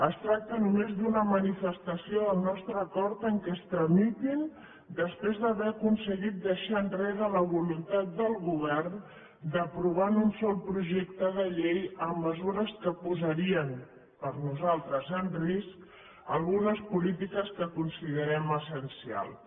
es tracta només d’una manifestació del nostre acord perquè es tramitin després d’haver aconseguit deixar enrere la voluntat del govern d’aprovar en un sol projecte de llei mesures que posarien per nosaltres en risc algunes polítiques que considerem essencials